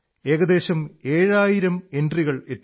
ഏകദേശം ഏഴായിരം എൻട്രികളെത്തി